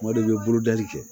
Tuma dɔw i bɛ bolodali kɛ